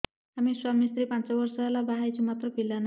ଆମେ ସ୍ୱାମୀ ସ୍ତ୍ରୀ ପାଞ୍ଚ ବର୍ଷ ହେଲା ବାହା ହେଇଛୁ ମାତ୍ର ପିଲା ନାହିଁ